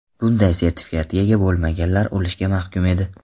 Bunday sertifikatga ega bo‘lmaganlar o‘lishga mahkum edi.